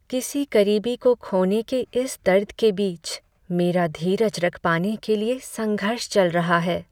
किसी करीबी को खोने के इस दर्द के बीच, मेरा धीरज रख पाने के लिए संघर्ष चल रहा है।